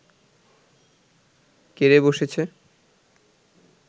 কে রে বসেছে